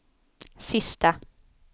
sista